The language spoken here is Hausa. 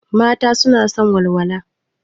Mata suna son walwala.